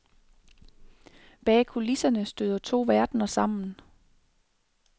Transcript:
Bag kulisserne støder to verdener sammen.